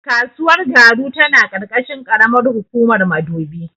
Kasuwar Garu tana ƙarƙashin ƙaramar hukumar Madobi.